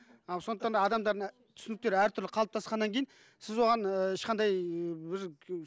ал сондықтан да адамдардың түсініктері әртүрлі қалыптасқаннан кейін сіз оған ііі ешқандай ыыы бір